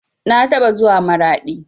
Na taɓa zuwa maraɗi